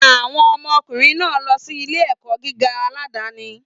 Àwọn ọmọ ọkùnrin náà ń lọ sí ilé-ẹ̀kọ́ gíga aládàáni.